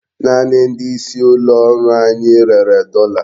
Naanị ndị isi ụlọ ọrụ anyị rere dọla.